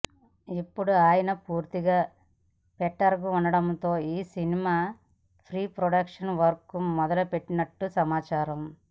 ఇప్పుడు ఆయన పూర్తిగా ఫిట్గా ఉండటంతో ఈ సినిమా ప్రీ ప్రొడక్షన్ వర్క్ మొదలుపెట్టినట్టు సమాచారం